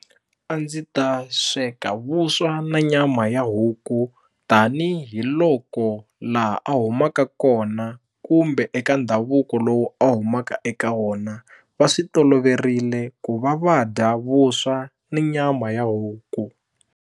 A ndzi ta sweka vuswa na nyama ya huku tanihiloko laha a humaka kona kumbe eka ndhavuko lowu a humaka eka wona va swi toloverile ku va va dya vuswa ni nyama ya huku.